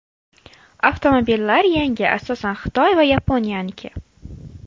Avtomobillar yangi, asosan Xitoy va Yaponiyaniki.